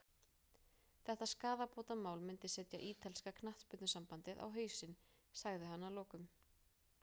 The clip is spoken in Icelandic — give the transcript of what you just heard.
Þetta skaðabótamál myndi setja ítalska knattspyrnusambandið á hausinn, sagði hann að lokum.